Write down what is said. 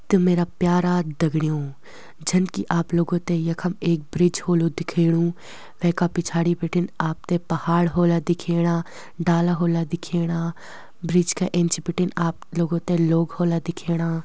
त मेरा प्यारा दगड़यूँ जन कि आप लोंगों ते यखम एक ब्रिज ह्वोलु दिखेणु वेका पिछाड़ी बिटिन आपते पहाड़ होला दिखेणा डाला होला दिखेणा ब्रिज का इंच बिटिन आप लोगों तें लोग होला दिखेणा।